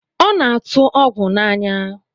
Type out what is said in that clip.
Ọ na-atụ ọgwụ n'anya